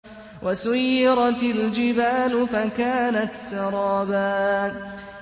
وَسُيِّرَتِ الْجِبَالُ فَكَانَتْ سَرَابًا